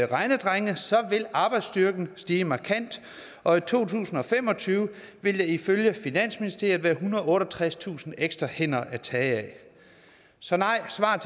regnedrenge vil arbejdsstyrken stige markant og i to tusind og fem og tyve vil der ifølge finansministeriet være ethundrede og otteogtredstusind ekstra hænder at tage af så nej er svaret